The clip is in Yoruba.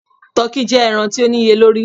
Tọki jẹ ẹran ti o niyelori